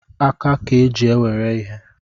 Aka ka eji ewere ihe